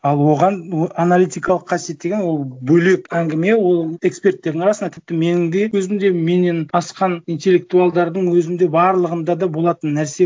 ал оған аналитикалық қасиет деген ол бөлек әңгіме ол эксперттердің арасында тіпті менің де өзімде менен асқан интеллектуалдардың өзінде барлығында да болатын нәрсе